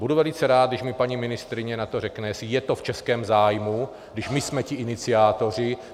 Budu velice rád, když mi paní ministryně na to řekne, jestli je to v českém zájmu, když my jsme ti iniciátoři.